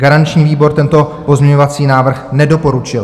Garanční výbor tento pozměňovací návrh nedoporučil.